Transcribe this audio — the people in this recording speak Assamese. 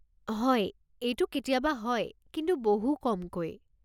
হয়, এইটো কেতিয়াবা হয়, কিন্তু বহু কমকৈ।